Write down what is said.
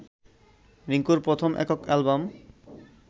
রিংকুর প্রথম একক অ্যালবাম